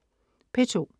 P2: